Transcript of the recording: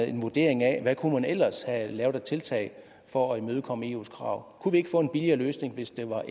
en vurdering af hvad man ellers have lavet af tiltag for at imødekomme eus krav kunne vi ikke få en billigere løsning hvis der var